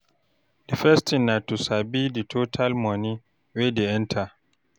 The first thing na to sabi di total money wey dey enter